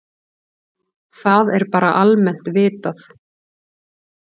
Það er bara almennt vitað.